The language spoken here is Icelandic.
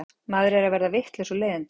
Maður er að verða vitlaus úr leiðindum.